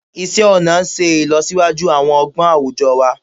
Isé ọnà ṣe ìlọsíwájú àwọn ọgbọ́n àwùjọ wa